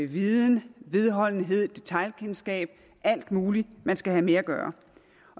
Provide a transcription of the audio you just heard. viden vedholdenhed detailkendskab og alt muligt man skal have med at gøre